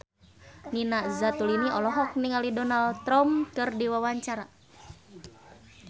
Nina Zatulini olohok ningali Donald Trump keur diwawancara